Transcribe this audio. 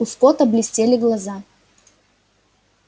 у скотта блестели глаза